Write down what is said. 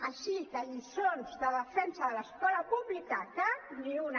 així que lliçons de defensa de l’escola pública cap ni una